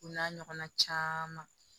O n'a ɲɔgɔnna caman